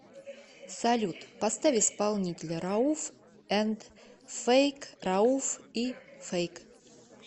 салют поставь исполнителя рауф энд фэйк рауф и фэйк